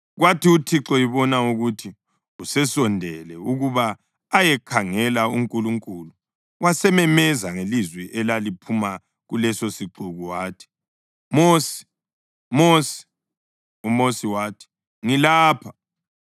Kwathi uThixo ebona ukuthi usesondele ukuba ayekhangela, uNkulunkulu wasememeza ngelizwi elaliphuma kulesosixuku wathi, “Mosi! Mosi!” UMosi wathi, “Ngilapha.”